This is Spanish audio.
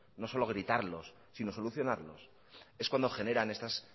no solo gritarlos sino solucionarlos es cuando generan estas